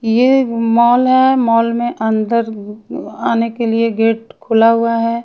ये मॉल है मॉल में अंदर आने के लिए गेट खुला हुआ है।